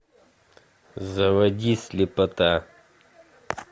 заводи слепота